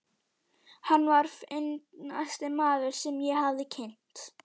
Hann var fyndnasti maður, sem ég hafði kynnst.